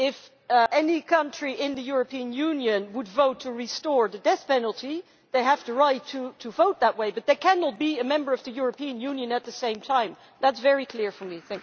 If any country in the European Union votes to restore the death penalty, well they have the right to vote that way, but they cannot be a Member of the European Union at the same time, that is very clear for me.